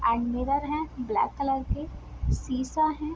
और मिरर है black colour के शीशा है।